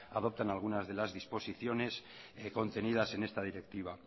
adoptan algunas de las disposiciones contenidas en esta directiva